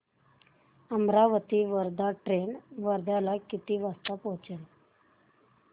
Amravati Wardha train वर्ध्याला किती वाजता पोहचेल